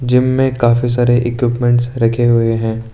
Gym में काफी सारे इक्विपमेंटस रखे हुए हैं।